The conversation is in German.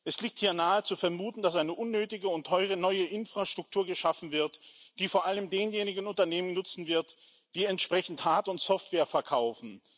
Es liegt hier nahe zu vermuten, dass eine unnötige und teure neue Infrastruktur geschaffen wird, die vor allem denjenigen Unternehmen nutzen wird, die entsprechende Hard und Software verkaufen.